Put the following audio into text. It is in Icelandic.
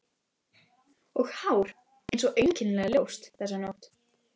Og hár hans er einkennilega ljóst þessa nótt.